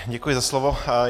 Děkuji za slovo.